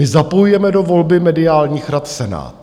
My zapojujeme do volby mediálních rad Senát.